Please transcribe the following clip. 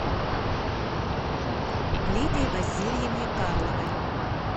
лидии васильевне карловой